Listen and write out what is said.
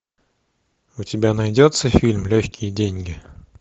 у тебя найдется фильм легкие деньги